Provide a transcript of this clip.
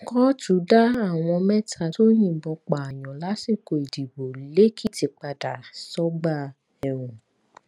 kóòtù dá àwọn mẹta tó yìnbọn pààyàn lásìkò ìdìbò lẹkìtì padà sọgbà ẹwọn